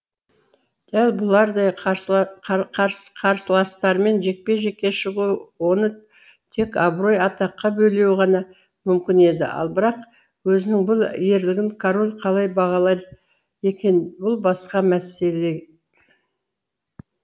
дәл бұлардай қарсыластарымен жекпе жекке шығуы оны тек абырой атаққа бөлеуі ғана мүмкін еді ал бірақ өзінің бұл ерлігін король қалай бағалар екен бұл басқа мәселе